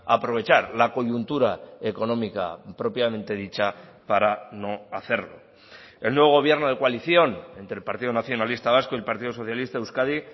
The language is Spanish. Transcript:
aprovechar la coyuntura económica propiamente dicha para no hacerlo el nuevo gobierno de coalición entre el partido nacionalista vasco y el partido socialista de euskadi